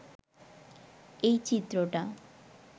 এই চিত্রটা